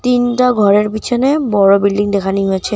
তিনটা ঘরের পিছনে বড় বিল্ডিং দেখানি হয়েছে।